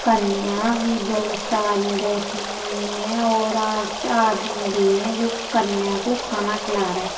कन्या भी बहोत सारी बैठी हुई हैं और आ आदमी भी हैं जो कन्या को खाना खिला रहे --